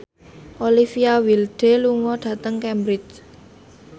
Olivia Wilde lunga dhateng Cambridge